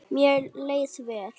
Mér leið vel.